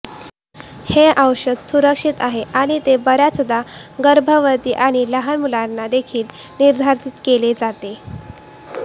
हे औषध सुरक्षित आहे आणि ते बर्याचदा गर्भवती आणि लहान मुलांना देखील निर्धारित केले जाते